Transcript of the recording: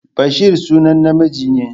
Bashari sunan namiji ne.